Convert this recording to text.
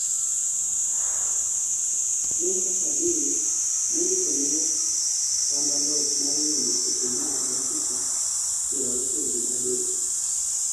Naker Cadil nondikoni west ramba loch mar yombo sechemar dakika pier auchiel gi adek